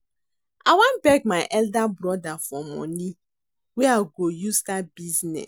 I wan beg my elder brother for money wey I go use start business